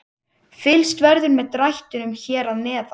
Fylgst verður með drættinum hér að neðan.